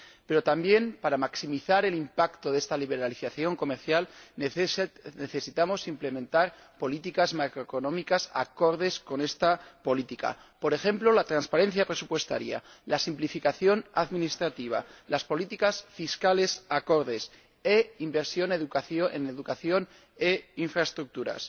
Pero, también, para maximizar el impacto de esta liberalización comercial, necesitamos implementar políticas macroeconómicas acordes con esta política, por ejemplo, la transparencia presupuestaria, la simplificación administrativa, las políticas fiscales acordes e inversión en educación e infraestructuras.